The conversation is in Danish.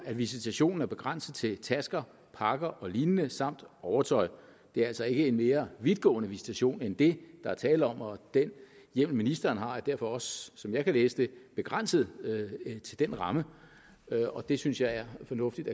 at visitationen er begrænset til tasker pakker og lignende samt overtøj det er altså ikke en mere vidtgående visitation end det der er tale om og den hjemmel ministeren har er derfor også som jeg kan læse det begrænset til den ramme og det synes jeg er fornuftigt